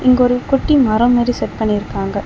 இங்க ஒரு குட்டி மரம் மாரி செட் பண்ணிருக்காங்க.